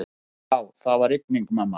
Já, það var rigning, mamma.